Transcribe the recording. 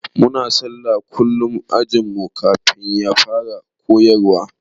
Muna sallah kullum ã ajin mu kafin a fara koyarwa.